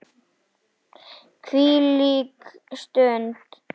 Hvílík stund.